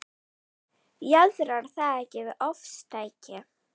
Jaðrar það ekki við ofstæki?